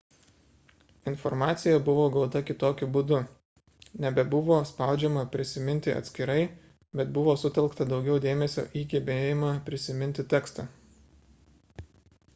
informacija buvo gauta kitokiu būdu.nebebuvo spaudžiama prisiminti atskirai bet buvo sutelkta daugiau dėmesio į gebėjimą prisiminti tekstą